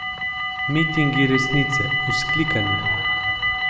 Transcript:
Mitingi resnice, vzklikanje ...